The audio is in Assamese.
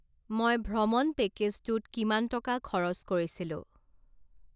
মই ভ্ৰমণ পেকেজটোত কিমান টকা খৰচ কৰিছিলোঁ?